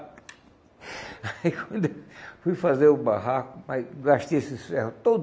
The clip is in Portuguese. Aí quando eu fui fazer o barraco, mas gastei esses ferro